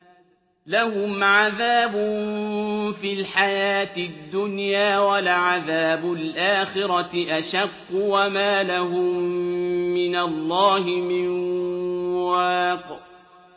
لَّهُمْ عَذَابٌ فِي الْحَيَاةِ الدُّنْيَا ۖ وَلَعَذَابُ الْآخِرَةِ أَشَقُّ ۖ وَمَا لَهُم مِّنَ اللَّهِ مِن وَاقٍ